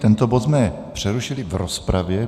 Tento bod jsme přerušili v rozpravě.